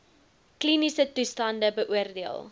kliniese toestande beoordeel